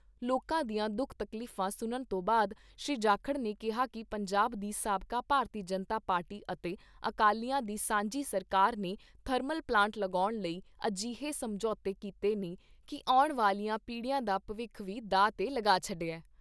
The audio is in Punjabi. ਲੋਕਾਂ ਦੀਆਂ ਦੁਖ ਤਕਲੀਫਾਂ ਸੁਣਨ ਤੋਂ ਬਾਦ ਸ਼੍ਰੀ ਜਾਖੜ ਨੇ ਕਿਹਾ ਕਿ ਪੰਜਾਬ ਦੀ ਸਾਬਕਾ ਭਾਰਤੀ ਜਨਤਾ ਪਾਰਟੀ ਅਤੇ ਅਕਾਲੀਆਂ ਦੀ ਸਾਂਝੀ ਸਰਕਾਰ ਨੇ ਥਰਮਲ ਪਲਾਂਟ ਲਗਾਉਣ ਲਈ ਅਜਿਹੇ ਸਮਝੋਤੇ ਕੀਤੇ ਨੇ ਕਿ ਆਉਣ ਵਾਲੀਆਂ ਪੀੜ੍ਹੀਆਂ ਦਾ ਭਵਿੱਖ ਵੀ ਦਾਅ ਤੇ ਲਗਾ ਛੱਡਿਆ।